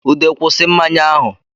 Ude kwusi mmanya ahụ